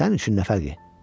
Sənin üçün nə fərqi?